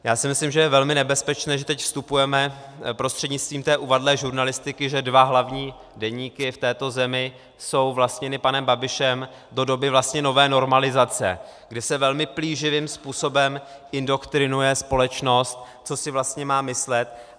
Já si myslím, že je velmi nebezpečné, že teď vstupujeme prostřednictvím té uvadlé žurnalistiky, že dva hlavní deníky v této zemi jsou vlastněny panem Babišem, do doby vlastně nové normalizace, kdy se velmi plíživým způsobem indoktrinuje společnost, co si vlastně má myslet.